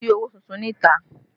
Kò sí owó tuntun níta